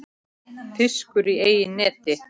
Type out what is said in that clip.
Fiskur í eigin neti.